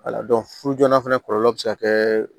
Wala furu joona fana kɔlɔlɔ bɛ se ka kɛ